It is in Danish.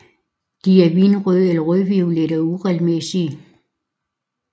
De er vinrøde eller rødviolette og uregelmæssige